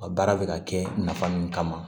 A baara bɛ ka kɛ nafa min kama